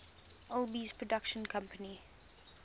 alby's production company